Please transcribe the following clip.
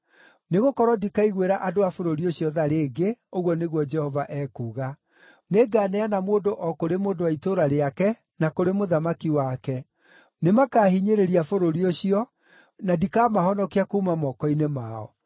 Nĩgũkorwo ndikaiguĩra andũ a bũrũri ũcio tha rĩngĩ,” ũguo nĩguo Jehova ekuuga. “Nĩnganeana mũndũ o kũrĩ mũndũ wa itũũra rĩake na kũrĩ mũthamaki wake. Nĩmakahinyĩrĩria bũrũri ũcio, na ndikamahonokia kuuma moko-inĩ mao.”